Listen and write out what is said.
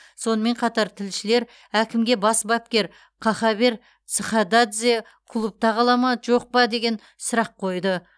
сонымен қатар тілшілер әкімге бас бапкер кахабер цхададзе клубта қала ма жоқ па деген сұрақ қойды